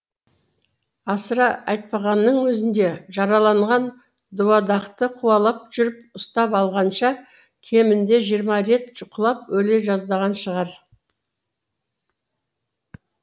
асыра айтпағанның өзінде жараланған дуадақты қуалап жүріп ұстап алғанша кемінде жиырма рет құлап өле жаздаған шығар